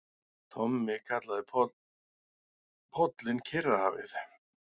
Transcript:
Tommi kallaði pollinn Kyrrahafið.